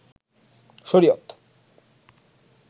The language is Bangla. শরিয়ত